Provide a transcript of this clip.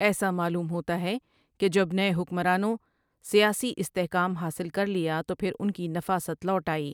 ایسا معلوم ہوتا ہے کہ جب نئے حکمرانوں سیاسی استحکام حاصل کر لیا تو پھر ان کی نفاست لوٹ آئی ۔